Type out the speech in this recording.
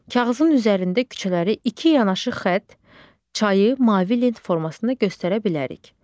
Kağızın üzərində küçələri iki yanaşı xətt, çayı mavi lent formasında göstərə bilərik.